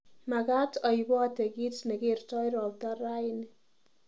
Magaat aiipotee kiit negertoi ropta raini